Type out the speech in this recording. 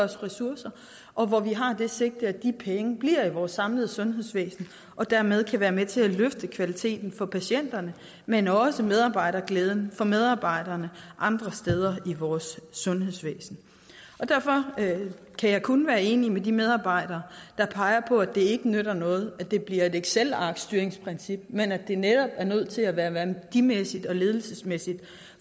ressourcer og hvor vi har det sigte at pengene bliver i vores samlede sundhedsvæsen og dermed kan være med til at løfte kvaliteten for patienterne men også medarbejderglæden for medarbejderne andre steder i vores sundhedsvæsen derfor kan jeg kun være enig med de medarbejdere der peger på at det ikke nytter noget at det bliver et excelarkstyringsprincip men at det netop er nødt til at være værdimæssigt og ledelsesmæssigt